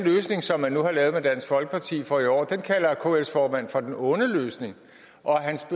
løsning som man nu har lavet med dansk folkeparti for i år kalder kls formand for den onde løsning og hans